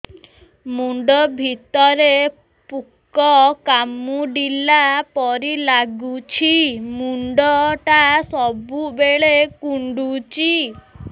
ମୁଣ୍ଡ ଭିତରେ ପୁକ କାମୁଡ଼ିଲା ପରି ଲାଗୁଛି ମୁଣ୍ଡ ଟା ସବୁବେଳେ କୁଣ୍ଡୁଚି